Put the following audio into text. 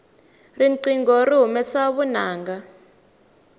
riqingho ri humesa vunanga